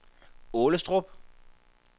Aalestrup